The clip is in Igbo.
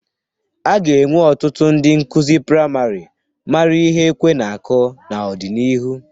A ga-enwe ọtụtụ ndị nkuzi praịmarị mara ihe ekwe na-akụ n'ọdịnihu.